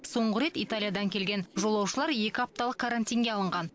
соңғы рет италиядан келген жолаушылар екі апталық карантинге алынған